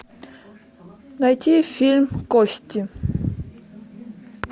найти фильм кости